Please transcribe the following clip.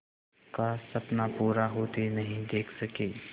का सपना पूरा होते नहीं देख सके